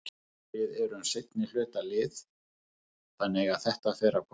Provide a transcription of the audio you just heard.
Við erum seinnihluta lið þannig að þetta fer að koma.